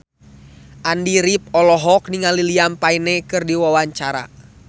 Andy rif olohok ningali Liam Payne keur diwawancara